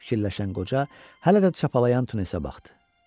Fikirləşən qoca hələ də çapalayan Tunisə baxdı.